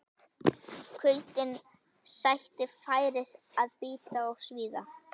Kuldinn sætti færis að bíta og svíða.